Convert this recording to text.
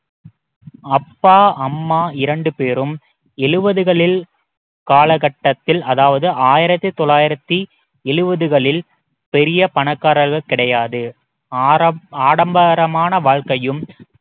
அப்பா அம்மா இரண்டு பேரும் எழுபதுகளில் காலகட்டத்தில் அதாவது ஆயிரத்தி தொள்ளாயிரத்தி எழுபதுகளில் பெரிய பணக்காரர்கள் கிடையாது ஆடம்~ ஆடம்பரமான வாழ்க்கையும்